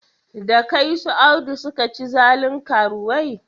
Da kai su Audu suka ci zalin karuwai?